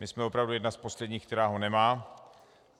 My jsme opravdu jedna z posledních, která ho nemá.